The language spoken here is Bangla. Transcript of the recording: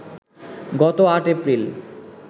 গত ৮এপ্রিল